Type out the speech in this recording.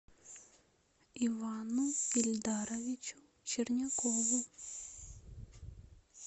ивану ильдаровичу чернякову